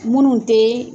Minnu tɛ